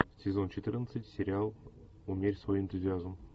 сезон четырнадцать сериал умерь свой энтузиазм